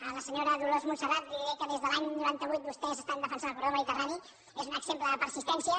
a la senyora dolors montserrat li diré que des de l’any noranta vuit vostès estan defensant el corredor del mediterrani és un exemple de persistència